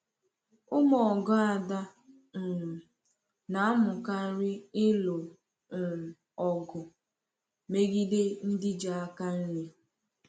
Ụmụ ọgụ Ada um na-amụkarị ịlụ um ọgụ megide ndị ji aka nri.